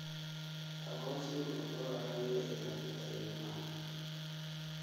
Aqoonsigu wuxuu caawiyaa ilaalinta ilmaha.